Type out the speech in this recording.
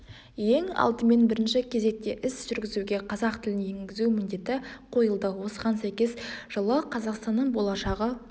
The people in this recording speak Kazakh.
ең алдымен бірінші кезекте іс жүргізуге қазақ тілін енгізу міндеті қойылды осыған сәйкес жылы қазақстанның болашағы